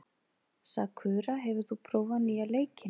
Sakura, hefur þú prófað nýja leikinn?